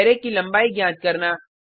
array की लंबाई ज्ञात करना